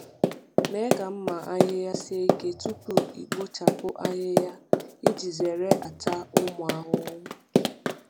Mee ka mma ahịhịa sie ike tupu ikpochapụ ahịhịa iji zere ata ụmụ ahụhụ.